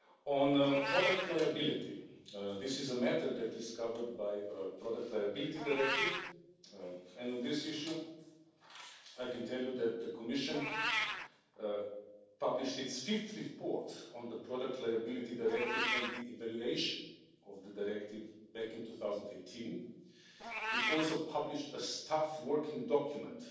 On product liability, this is a matter that is covered by the Product Liability Directive. On this issue, I can tell you that the Commission published its fifth report on the Product Liability Directive and the evaluation of the Directive back in 2018. It also published a staff working document